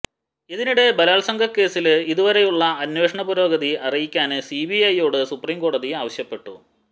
ഇതിനിടെ ബലാത്സംഗ കേസില് ഇതുവരെയുള്ള അന്വേഷണ പുരോഗതി അറിയിക്കാന് സിബിഐയോട് സുപ്രീംകോടതി ആവശ്യപ്പെട്ടു